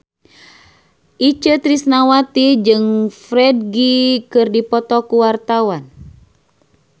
Itje Tresnawati jeung Ferdge keur dipoto ku wartawan